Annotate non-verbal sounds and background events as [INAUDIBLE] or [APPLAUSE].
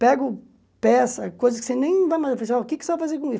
Pego peça, coisas que você nem vai mais... [UNINTELLIGIBLE] o que é que você vai fazer com isso?